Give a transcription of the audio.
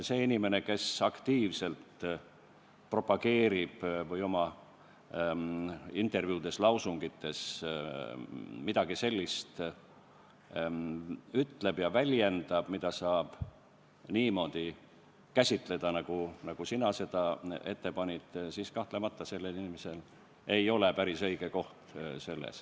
Sellel inimesel, kes aktiivselt midagi sellist propageerib või oma intervjuudes ja lausungites ütleb midagi sellist, mida saab käsitleda niimoodi, nagu sina seda ütlesid, ei ole kahtlemata seal päris õige koht.